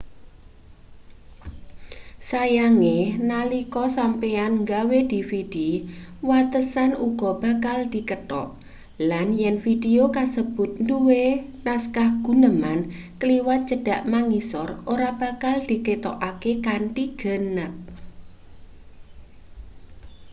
sayange nalika sampeyan nggawe dvd watesan uga bakal dikethok lan yen vidio kasebut duwe naskah guneman kliwat cedhak mangisor ora bakal diketokake kanthi ganep